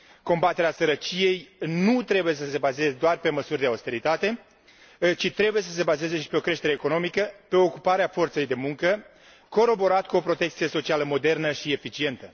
Combaterea sărăciei nu trebuie să se bazeze doar pe măsuri de austeritate, ci trebuie să se bazeze și pe o creștere economică, pe ocuparea forței de muncă, coroborat cu o protecție socială modernă și eficientă.